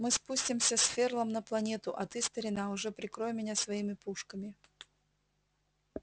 мы спустимся с ферлом на планету а ты старина уже прикрой меня своими пушками